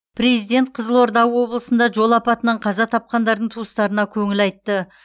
президент қызылорда облысында жол апатынан қаза тапқандардың туыстарына көңіл айтты